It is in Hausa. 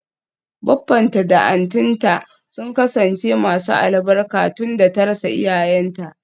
Baffanta da auntynta sun kasance masu albarka tunda ta rasa iyayenta.